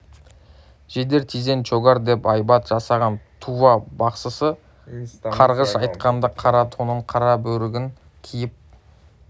жедер тизен чогор деп айбат жасаған тува бақсысы қарғыш айтқанда қара тонын қара бөрігін киіп